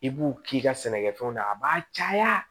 I b'u k'i ka sɛnɛkɛfɛnw na a b'a caya